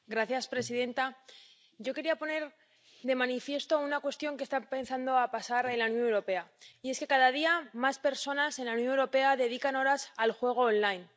Señora presidenta, yo quería poner de manifiesto una cuestión que está empezando a pasar en la Unión Europea, y es que cada día más personas en la Unión Europea dedican horas al juego en línea.